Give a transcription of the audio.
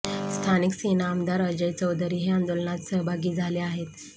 स्थानिक सेना आमदार अजय चौधरी हे आंदोलनात सहभागी झाले आहेत